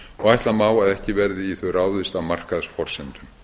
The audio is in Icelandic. og ætla má að ekki verði í þau ráðist á markaðsforsendum